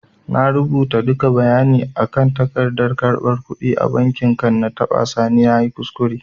I rubuta duka bayani na akan tagardan karɓan kudi a banki kan na tada sani nayi kuskure